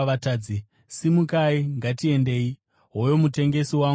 Simukai! Ngatiendei! Hoyo mutengesi wangu ouya!”